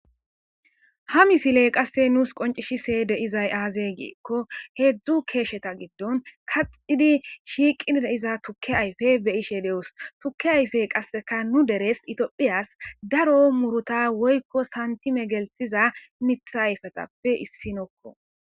Ha misiley qasse nuus qoncishise deizay aazeygiekko heedzdzu keesheta giddon kaxxidi shiiqi deiza tukke ayfe beyishe de'os tukke ayfe qasseka nu deres itiophiyas daro muruta woykko santime geltiza mitha ayfetappe issinokko.